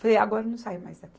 Falei, agora eu não saio mais daqui.